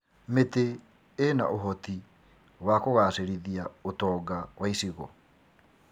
Mĩtĩ ĩna ũhoti w kũgacĩrithia ũtonga wa icigo.